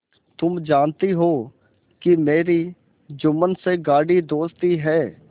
तुम जानती हो कि मेरी जुम्मन से गाढ़ी दोस्ती है